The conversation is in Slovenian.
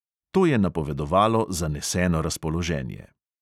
To je napovedovalo zaneseno razpoloženje.